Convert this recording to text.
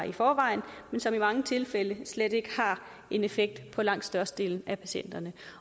i forvejen men som i mange tilfælde slet ikke har en effekt på langt størstedelen af patienterne